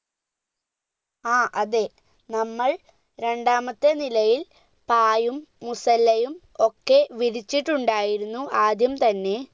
ആ അതെ നമ്മൾ രണ്ടാമത്തെ നിലയിൽ പായും മുസല്ലയും ഒക്കെ വിരിച്ചിട്ടുണ്ടായിരുന്നു ആദ്യം തന്നെ